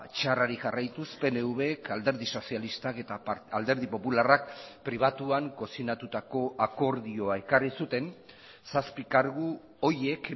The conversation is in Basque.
txarrari jarraituz pnvek alderdi sozialistak eta alderdi popularrak pribatuan kozinatutako akordioa ekarri zuten zazpi kargu horiek